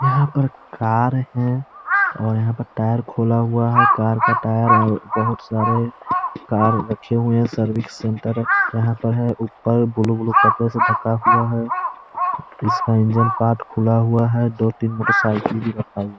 यहाँ पर कार है और यहाँ पर टायर खोला हुआ है। कार का टायर है और बहोत सारे कार रखे हुए हैं। सर्विस सेंटर यहाँ पर है। उपर ब्लू ब्लू कपड़े से ढका हुआ है। इसका इंजन पार्ट खुला हुआ है। दोतीन मोटरसाइकिल भी रखा हुआ हैं।